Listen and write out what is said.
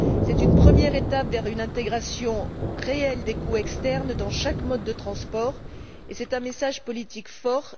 C'est une première étape vers une intégration réelle des coûts externes dans chaque mode de transport, et c'est un message politique fort.